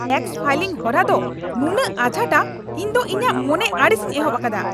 Tax filing ᱦᱚᱨᱟ ᱫᱚ ᱱᱩᱱᱟᱹᱜ ᱟᱡᱷᱟᱴᱼᱟ, ᱤᱧ ᱫᱚ ᱤᱧᱟᱜ ᱢᱚᱱᱮ ᱟᱹᱲᱤᱥᱤᱧ ᱮᱦᱚᱵ ᱟᱠᱟᱫᱟ !